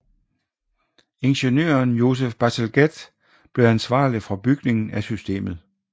Ingeniøren Joseph Bazalgette blev ansvarlig for bygningen af systemet